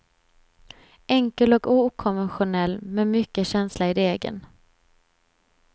Enkel och okonventionell, med mycket känsla i degen.